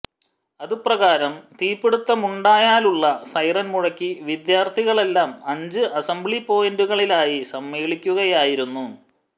അതു പ്രകാരം തീപിടുത്തമുണ്ടായാലുള്ള സൈറന് മുഴക്കി വിദ്യാര്ഥികളെല്ലാം അഞ്ചു അസംബ്ലി പോയിന്റുകളിലായി സമ്മേളിക്കുകയായിരുന്നു